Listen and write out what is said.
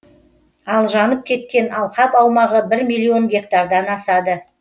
ал жанып кеткен алқап аумағы бір миллион гектардан асады